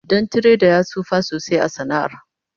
Dan tiredar ya tsufa sosai a sana'ar